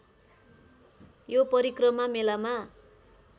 यो परिक्रमा मेलामा